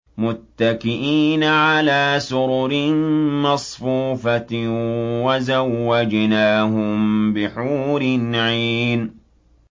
مُتَّكِئِينَ عَلَىٰ سُرُرٍ مَّصْفُوفَةٍ ۖ وَزَوَّجْنَاهُم بِحُورٍ عِينٍ